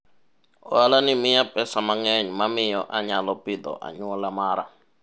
ohala ni miya pesa mang'eny mamiyo anyalo pidho anywola mara